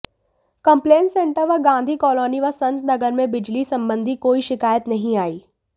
complaint centre पर Gandhi colony व संत नगर में बिजली संबंधी कोई शिकायत नहीं आई